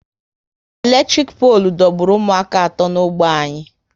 Eletrik polu dọgburu ụmụaka atọ n'ógbè anyị